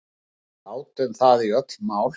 Við átum það í öll mál.